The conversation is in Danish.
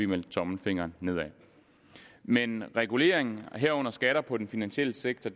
vendt tommelfingeren nedad men regulering herunder skatter på den finansielle sektor